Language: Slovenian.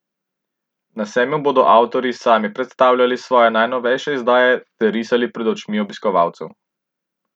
Na sejmu bodo avtorji sami predstavljali svoje najnovejše izdaje ter risali pred očmi obiskovalcev.